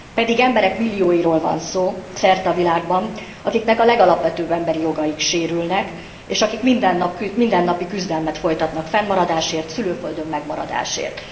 Pedig emberek millióiról van szó szerte a világban, akiknek a legalapvetőbb emberi jogaik sérülnek, és akik mindennapi küzdelmet folytatnak fennmaradásért, szülőföldön megmaradásért.